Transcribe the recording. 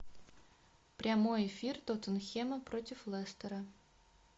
прямой эфир тоттенхэма против лестера